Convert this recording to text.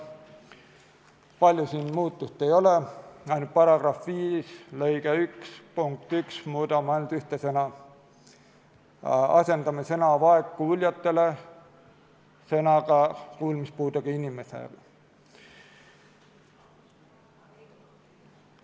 Palju siin muutusi ei ole, ainult § 5 lõike 1 punktis 1 asendame sõna "vaegkuuljatele" sõnadega "kuulmispuudega inimestele".